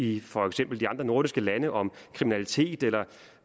i for eksempel de andre nordiske lande om kriminalitet eller